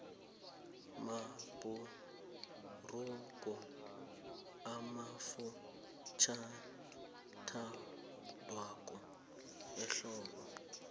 mabhurugu amafutjhaniathandwa ehlobo